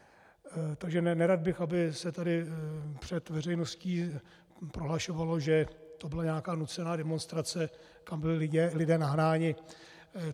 Takže nerad bych, aby se tady před veřejností prohlašovalo, že to byla nějaká nucená demonstrace, kam byli lidé nahnáni.